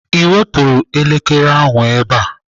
Ị wepụrụ elekere ahụ ebe a?